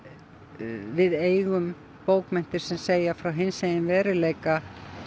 við eigum bókmenntir sem segja frá hinsegin veruleika